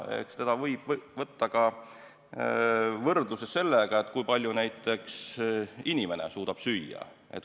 Seda võib võrrelda näiteks sellega, kui palju inimene suudab süüa.